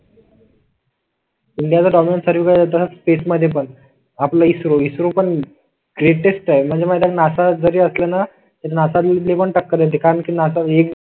India space मध्ये पण आपलं इसरो ग्रेटेस्ट आहे म्हणजे माहिताय का नासा जरी असलं ना तरी नसले पण टक्कर देते नासा एक